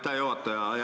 Aitäh, juhataja!